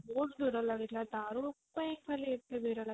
ବହୁତ ଭିଡ ଲାଗିଥିଲା ଦାରୁ ପାଇଁ ଖାଲି ଏତେ ଭିଡ ଲାଗିଥିଲା